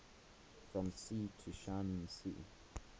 from sea to shining sea